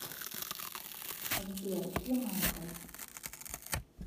сбер где майкл